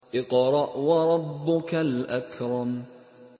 اقْرَأْ وَرَبُّكَ الْأَكْرَمُ